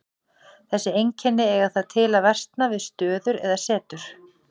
Þessi einkenni eiga það til að versna við stöður eða setur.